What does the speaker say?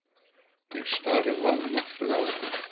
Ég stari vanmáttug á hann.